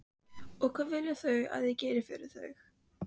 Ætli það sé ekki best að ég hætti þessu bara.